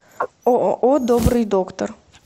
ооо добрый доктор